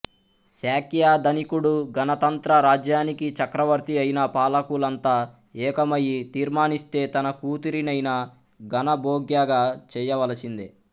శాక్యధనికుడు గణతంత్ర రాజ్యానికి చక్రవర్తి అయినా పాలకులంతా ఏకమయి తీర్మానిస్తే తన కూతురినయినా గణభోగ్యగా చేయవలసిందే